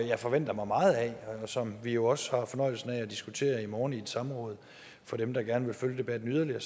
jeg forventer mig meget af og som vi jo også har fornøjelsen af at diskutere i morgen i et samråd for dem der gerne vil følge debatten yderligere